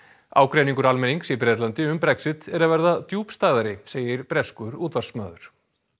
ágreiningur almennings í Bretlandi um Brexit er að verða djúpstæðari segir breskur útvarpsmaður